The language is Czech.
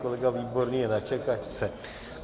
Kolega Výborný je na čekačce.